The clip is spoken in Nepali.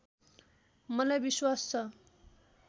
मलाई विश्वास छ